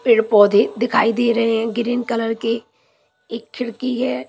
पेड़ पौधे दिखाई दे रहे हैं ग्रीन कलर के एक खिड़की है ।